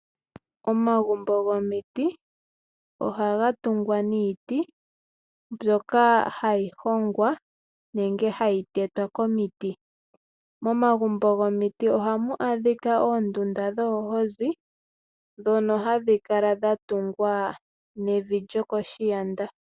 Omagumbo gomiti ohaga tungwa niiti mbyoka hayi hongwa nenge hayi tetwa komiti. Momagumbo gomiti ohamu adhika oondunda dhoohozi ndhono hadhi kala dhatungwa nevi lyokoshiyanda.